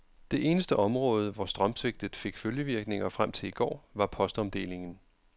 Det eneste område, hvor strømsvigtet fik følgevirkninger frem til i går, var postomdelingen.